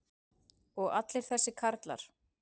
og allir þessir karlar.